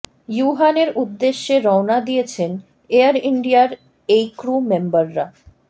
ইউহানের উদ্দেশে রওনা দিয়েছেন এয়ার ইন্ডিয়ার এই ক্রু মেম্বাররা